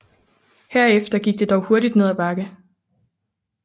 Herefter gik det dog hurtigt ned ad bakke